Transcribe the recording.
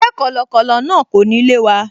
Ṣé kọ̀lọ̀kọ̀lọ̀ náà kò ní lé wa?